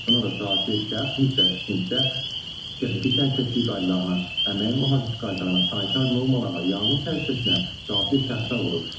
Buna da zəruri şəxs mütləq tikintidə texniki təhlükəsizlik qaydalarına, əmək mühafizəsi qaydalarına, sanitar normalara, yanğın təhlükəsizliyinə zəruri şəxslər olur.